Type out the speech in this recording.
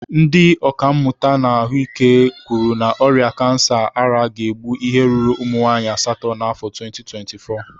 Ndị ọkàmmụta na ahụike kwuru na ọrịa kansa ara ga-egbu ihe ruru ụmụnwaanyị asatọ n'afọ 2024.